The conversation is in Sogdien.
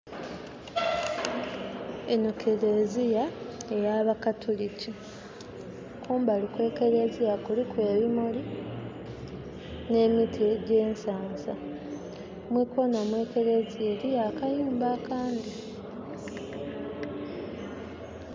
Eno kereziya eya ba katuliki. Kumbali kwe kereziya kuliku ebimuli ne miti gye nsansa. Mwi koona mwe kereziya eriyo akayumba akandi